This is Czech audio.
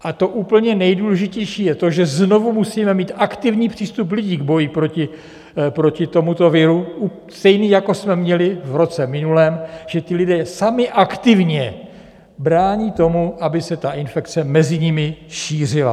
A to úplně nejdůležitější je to, že znovu musíme mít aktivní přístup lidí k boji proti tomuto viru, stejný jako jsme měli v roce minulém, že ti lidé sami aktivně brání tomu, aby se ta infekce mezi nimi šířila.